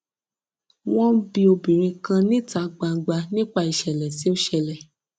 wọn ń bi obìnrin kan níta gbangba nípa ìṣẹlẹ tó ṣẹlẹ